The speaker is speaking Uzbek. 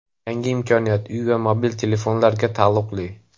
Yangi imkoniyat uy va mobil telefonlarga taalluqli.